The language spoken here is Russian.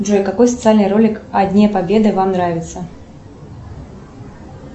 джой какой социальный ролик о дне победы вам нравится